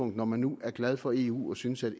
når man nu er glad for eu og synes at